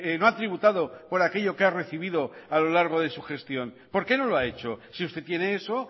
no ha tributado por aquello que ha recibido a lo largo de su gestión por qué no lo ha hecho si usted tiene eso